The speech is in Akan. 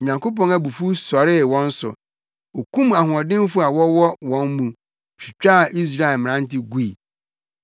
Onyankopɔn abufuw sɔree wɔn so; okum ahoɔdenfo a wɔwɔ wɔn mu twitwaa Israel mmerante gui.